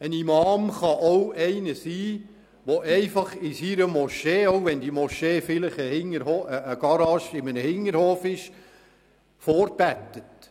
Ein Imam kann auch jemand sein, der einfach in seiner Moschee vorbetet, auch wenn die Moschee vielleicht in Form einer Garage in einem Hinterhof besteht.